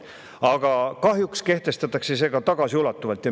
Aga kahjuks kehtestatakse see tagasiulatuvalt.